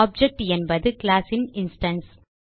object என்பது class ன் instance